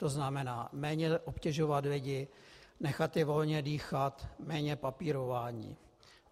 To znamená, méně obtěžovat lidi, nechat je volně dýchat, méně papírování.